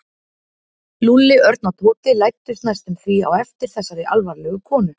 Lúlli, Örn og Tóti læddust næstum því á eftir þessari alvarlegu konu.